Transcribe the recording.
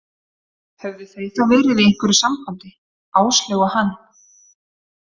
Höfðu þau þá verið í einhverju sambandi, Áslaug og hann?